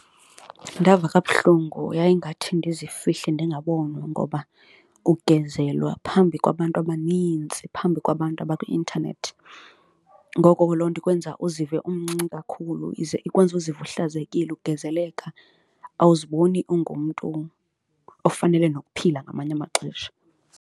Ndava kabuhlungu yayingathi ndizifihle ndingabonwa ngoba ukugezelwa phambi kwabantu abanintsi, phambi kwabantu abakwi-intanethi. Ngoko ke loo nto ikwenza uzive umncinci kakhulu, ize ikwenze uzive uhlazekile, ugezeleka awuziboni ungumntu ofanele nokuphila ngamanye amaxesha.